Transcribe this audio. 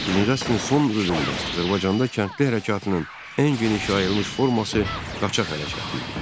19-cu əsrin son rübündə Azərbaycanda kəndli hərəkatının ən geniş yayılmış forması qaçaq hərəkatı idi.